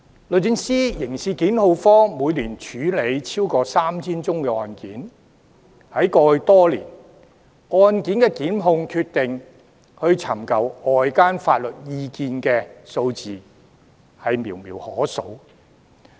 律政司刑事檢控科每年處理超過 3,000 宗案件，在過去多年，就案件的檢控決定尋求外間法律意見的數字寥寥可數。